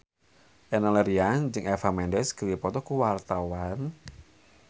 Enno Lerian jeung Eva Mendes keur dipoto ku wartawan